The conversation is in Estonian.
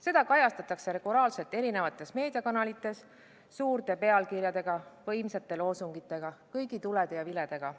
Seda kajastatakse regulaarselt eri meediakanalites suurte pealkirjade ja võimsate loosungitega, kõigi tulede ja viledega.